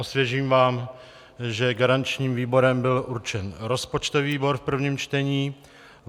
Osvěžím vám, že garančním výborem byl určen rozpočtový výbor v prvním čtení.